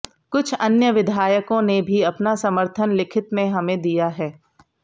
कुछ अन्य विधायकों ने भी अपना समर्थन लिखित में हमें दिया है